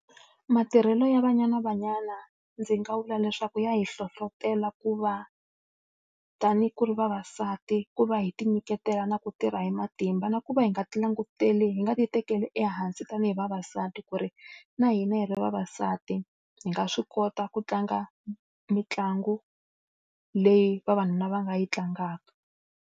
Matirhelo ya Banyana Banyana ndzi nga vula leswaku ya hi hlohletela ku va ku ri vavasati, ku va hi tinyiketela na ku tirha hi matimba na ku va hi nga hi nga ti tekeli ehansi tanihi vavasati ku ri na hina hi ri vavasati, hi nga swi kota ku tlanga mitlangu leyi vavanuna va nga yi tlangaka.